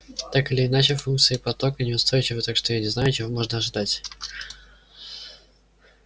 так или иначе функции потока неустойчивы так что я не знаю чего можно ожидать